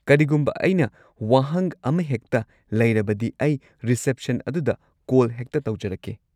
ꯀꯔꯤꯒꯨꯝꯕ ꯑꯩꯅ ꯋꯥꯍꯪ ꯑꯃꯍꯦꯛꯇ ꯂꯩꯔꯕꯗꯤ, ꯑꯩ ꯔꯤꯁꯦꯞꯁꯟ ꯑꯗꯨꯗ ꯀꯣꯜ ꯍꯦꯛꯇ ꯇꯧꯖꯔꯛꯀꯦ꯫